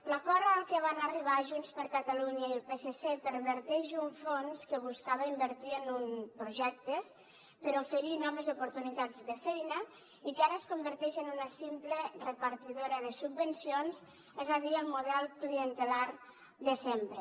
l’acord al que van arribar junts per catalunya i el psc perverteix un fons que buscava invertir en projectes per oferir noves oportunitats de feina i que ara es converteix en una simple repartidora de subvencions és a dir el model clientelar de sempre